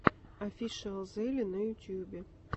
офишиалзеле на ютюбе